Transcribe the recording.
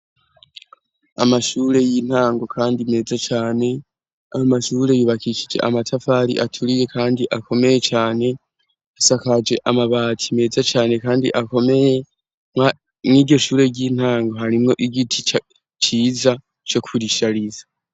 Amashure y'intango kandi meza cane, amashure yubakishije amatafari aturiye kandi akomeye cane, asakaje amabati meza cane kandi akomeye, mw'iryo shure ry'intango harimwo igiti, ciza co kurishariza.